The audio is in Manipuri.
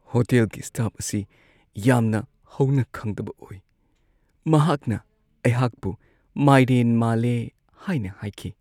ꯍꯣꯇꯦꯜꯒꯤ ꯁ꯭ꯇꯥꯐ ꯑꯁꯤ ꯌꯥꯝꯅ ꯍꯧꯅꯈꯪꯗꯕ ꯑꯣꯏ꯫ ꯃꯍꯥꯛꯅ ꯑꯩꯍꯥꯛꯄꯨ ꯃꯥꯏꯔꯦꯟ ꯃꯥꯜꯂꯦ ꯍꯥꯏꯅ ꯍꯥꯏꯈꯤ꯫